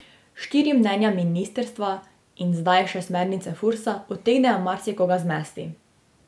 Štiri mnenja ministrstva in zdaj še smernice Fursa utegnejo marsikoga zmesti.